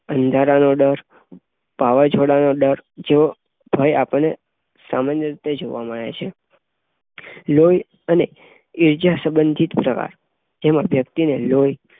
અંધારાનો ડર, વાવાઝોડાનો ડર જેવો ભય અપડે સામાન્ય રીતે જોવા મળે છે. લોહી અને ઈજા સંબંધી પ્રકાર જેમાં વ્યક્તિને લોહી